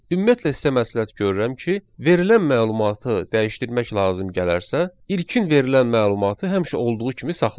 Ümumiyyətlə sizə məsləhət görürəm ki, verilən məlumatı dəyişdirmək lazım gələrsə, ilkin verilən məlumatı həmişə olduğu kimi saxlayın.